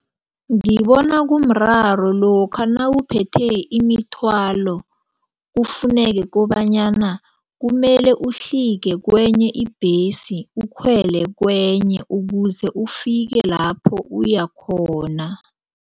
Ngibona kumraro lokha nawuphethe imithwalo kufuneke kobonyana kumele uhlike kwenye ibhesi ukhwele kwenye ukuze ufike lapho uyakhona.